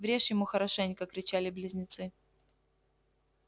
врежь ему хорошенько кричали близнецы